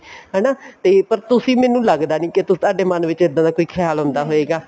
ਹਨਾ ਤੇ ਪਰ ਤੁਸੀਂ ਮੈਨੂੰ ਲੱਗਦਾ ਨੀ ਤੁਹਾਡੇ ਮੰਨ ਵਿੱਚ ਇੱਦਾਂ ਦਾ ਕੋਈ ਖਿਆਲ ਆਉਂਦਾ ਹੋਏਗਾ